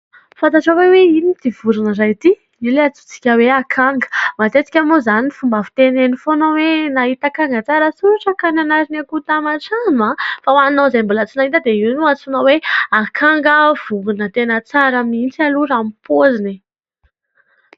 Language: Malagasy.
Fantatrao ve hoe inona ity vorona iray ity ? Io ilay antsointsika hoe akanga ; matetika moa izany ny fomba fiteny eny foana hoe :" nahita akanga tsara soratra ka nanary ny akoho taman-trano. " Fa ho anao izay mbola tsy nahita dia io no antsoina hoe akanga, vorona tena tsara mihitsy aloha raha ny paoziny e !